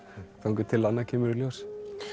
þangað til annað kemur í ljós